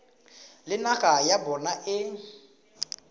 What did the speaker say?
le naga ya bona e